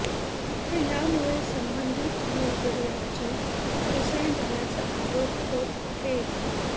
मात्र यामुळे संबंधित मृतदेहाची हेळसांड झाल्याचा आरोप होत आहे